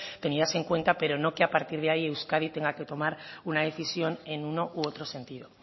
tenidas en cuenta pero no que a partir de ahí euskadi tenga que tomar una decisión en uno u otro sentido